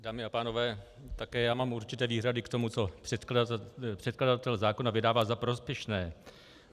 Dámy a pánové, také já mám určité výhrady k tomu, co předkladatel zákona vydává za prospěšné.